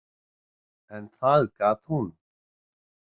En það gat hún.